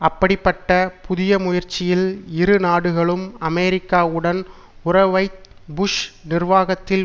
அப்படிப்பட்ட புதிய முயற்சியில் இரு நாடுகளும் அமெரிக்காவுடன் உறவை புஷ் நிர்வாகத்தில்